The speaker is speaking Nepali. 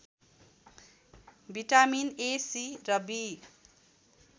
भिटामिन ए सी र बी